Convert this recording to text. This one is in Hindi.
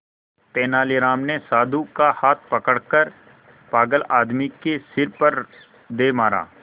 तेनालीराम ने साधु का हाथ पकड़कर पागल आदमी के सिर पर दे मारा